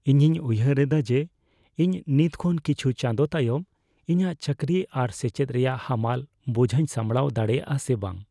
ᱤᱧᱤᱧ ᱩᱭᱦᱟᱹᱨ ᱮᱫᱟ ᱡᱮ ᱤᱧ ᱱᱤᱛ ᱠᱷᱚᱱ ᱠᱤᱪᱷᱩ ᱪᱟᱸᱫᱳ ᱛᱟᱭᱚᱢ ᱤᱧᱟᱹᱜ ᱪᱟᱹᱠᱨᱤ ᱟᱨ ᱥᱮᱪᱮᱫ ᱨᱮᱭᱟᱜ ᱦᱟᱢᱟᱞ ᱵᱚᱡᱷᱟᱧ ᱥᱟᱢᱲᱟᱣ ᱫᱟᱲᱮᱭᱟᱜᱼᱟ ᱥᱮ ᱵᱟᱝ ᱾